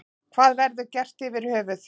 Hvað verður gert yfir höfuð.